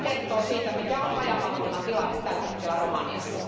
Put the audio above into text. Tämä kertoo siitä, mikä on rajavalvonnan tilanne tällä hetkellä Romaniassa.